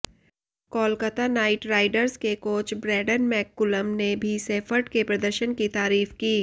Kolkata Knight Riders के coach Brendon McCullum ने भी सेफर्ट के प्रदर्शन की तारीफ की